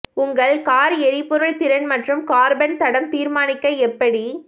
உங்கள் கார் எரிபொருள் திறன் மற்றும் கார்பன் தடம் தீர்மானிக்க எப்படி